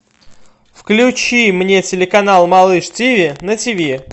включи мне телеканал малыш тв на тв